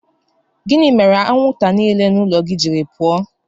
Gịnị ka imere anwụnta niile nọ n'ụlọ gị jiri pụọ?